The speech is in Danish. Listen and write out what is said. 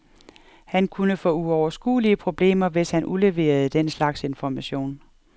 Han kunne få uoverskuelige problemer, hvis han udleverede den slags information.